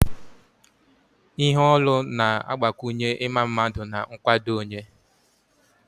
Ihe olu na-agbakwunye ịma mma na nkwado onye